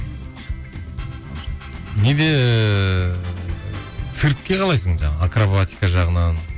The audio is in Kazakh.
неде ыыы циркке қалайсың жаңағы акробатика жағынан